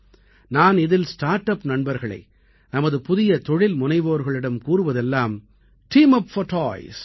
நான் இதில் start up நண்பர்களை நமது புதிய தொழில்முனைவோர்களிடம் கூறுவதெல்லாம் டீம் உப் போர் toys